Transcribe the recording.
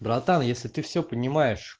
братан если ты всё понимаешь